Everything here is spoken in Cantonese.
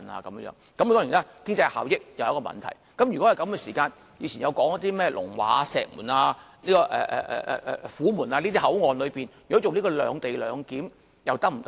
當然，經濟效益是一個問題，如果是這樣，以前說過的甚麼龍華、石門、虎門這些口岸，如果進行"兩地兩檢"又是否可行？